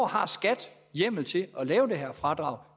har skat hjemmel til at lave det her fradrag